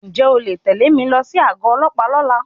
Ǹjẹ́ o lè tẹ mi lọ sí àgọ ọlọ́pàá lọ́la?